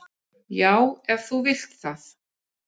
"""Já, ef þú vilt það."""